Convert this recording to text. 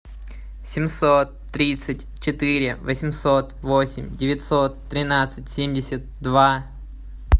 семьсот тридцать четыре восемьсот восемь девятьсот тринадцать семьдесят два